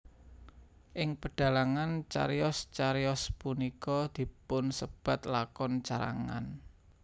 Ing pedhalangan cariyos cariyos punika dipunsebat lakon carangan